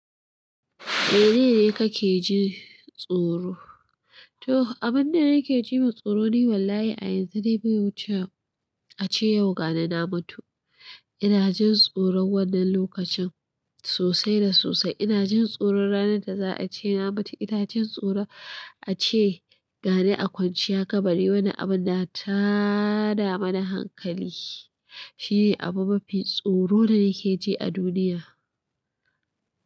Mene ne ka ke ji tsoro? To, abin da nake ji ma tsoro ne wallahi a yanzu dai bai wuce a ce yau gani na mutu. Ina jin tsoron wannan lokacin sosai da sosai. Ina jin tsoron ranar da za a ce na mutu. Ina jin tsoron a ce, ga ni a kwanciyar kabari wannan abun na tada mana hankali. Shi ne abu mafi tsoro da nake ji a duniya.